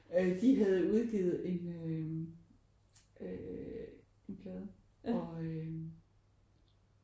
Øh de havde udgivet en øh øh en plade og øh